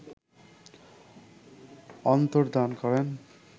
অন্তর্ধান করেন